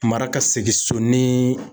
Mara ka segin so ni